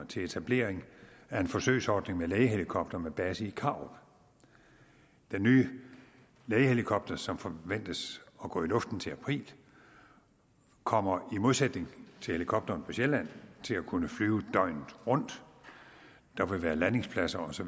til etablering af en forsøgsordning med lægehelikopter med base i karup den nye lægehelikopter som forventes at gå i luften til april kommer i modsætning til helikopteren på sjælland til at kunne flyve døgnet rundt der vil være landingspladser osv